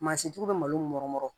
Mansintigiw bɛ malo min mɔrɔmɔrɔ